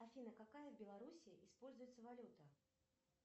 афина какая в белоруссии используется валюта